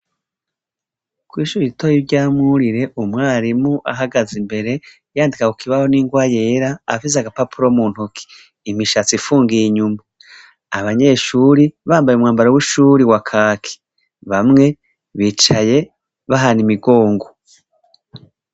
Kwishure ritoya rya mwurire umwarimu ahagaze imbere yandika kukibaho ningwa yera afise nagapapuro muntoke imishatsi ifungiye inyuma abanyeshure bambaye umwambaro wishure wakaki bamwe bicaye bahana imigongo